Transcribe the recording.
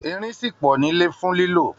Irin ṣì pọ̀ nílẹ̀ fún lílò